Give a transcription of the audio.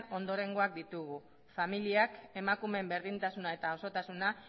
ondorengoak ditugu familiak emakumeen berdintasuna eta osotasuna